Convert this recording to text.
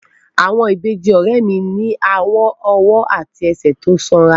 Àwọn ìbejì ọ̀rẹ́ mi ní àwọn ọwọ́ àti ẹsẹ̀ tó sanra